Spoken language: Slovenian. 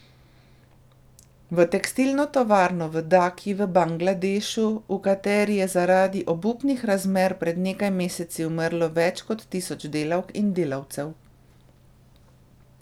V tekstilno tovarno v Daki v Bangladešu, v kateri je zaradi obupnih razmer pred nekaj meseci umrlo več kot tisoč delavk in delavcev.